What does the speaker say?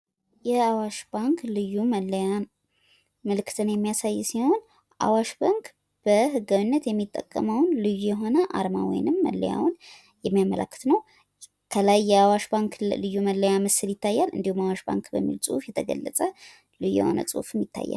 የአዋሽ ባንክ ልዩ መለያ ምልክትን የሚያሳይ ሲሆን፤ አዋሽ ባንክ በህጋዊ መንገድ የሚጠቀመውን አርማ የሚያሳይ ምስል ነው ። አዋሽ ባንክ የሚል በልዩ ጽሁፍ ተጽፎ ይታያል።